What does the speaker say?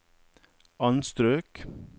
anstrøk